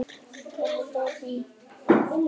Það heldur áfram á fleygiferð